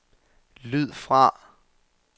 lyd fra